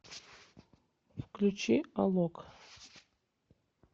включи алок